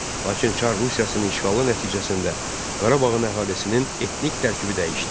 Lakin Çar Rusiyasının işğalı nəticəsində Qarabağın əhalisinin etnik tərkibi dəyişdi.